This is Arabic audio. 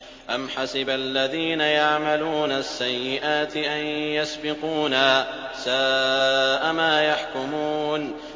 أَمْ حَسِبَ الَّذِينَ يَعْمَلُونَ السَّيِّئَاتِ أَن يَسْبِقُونَا ۚ سَاءَ مَا يَحْكُمُونَ